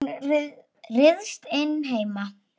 Hún ryðst inn heima.